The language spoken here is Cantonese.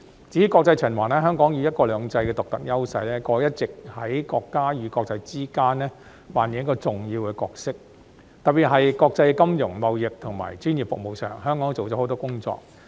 至於國際循環，香港以"一國兩制"的獨特優勢，過去一直在國家與國際之間扮演重要的角色，特別是國際金融、貿易及專業服務上，香港做了很多工作。